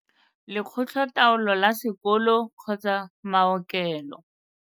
Lekgotla taolo la Sekolo kgotsa mao kelo.